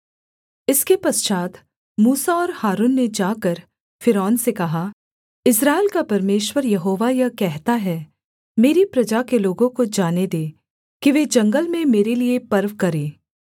इसके पश्चात् मूसा और हारून ने जाकर फ़िरौन से कहा इस्राएल का परमेश्वर यहोवा यह कहता है मेरी प्रजा के लोगों को जाने दे कि वे जंगल में मेरे लिये पर्व करें